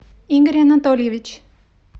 игорь анатольевич